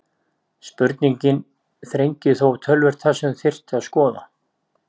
Spurningin þrengir þó töluvert það sem þyrfti að skoða.